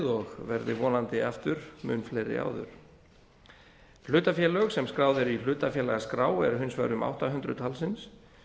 og verði vonandi aftur mun fleiri áður hlutafélög sem skráð eru í hlutafélagaskrá eru hins vegar um átta hundruð talsins